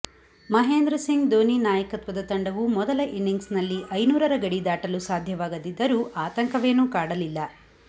ಮಹೇಂದ್ರ ಸಿಂಗ್ ದೋನಿ ನಾಯಕತ್ವದ ತಂಡವು ಮೊದಲ ಇನಿಂಗ್ಸ್ನಲ್ಲಿ ಐನೂರರ ಗಡಿ ದಾಟಲು ಸಾಧ್ಯವಾಗದಿದ್ದರೂ ಆತಂಕವೇನು ಕಾಡಲಿಲ್ಲ